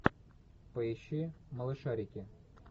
поищи малышарики